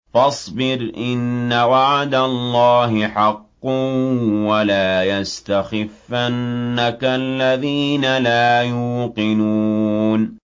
فَاصْبِرْ إِنَّ وَعْدَ اللَّهِ حَقٌّ ۖ وَلَا يَسْتَخِفَّنَّكَ الَّذِينَ لَا يُوقِنُونَ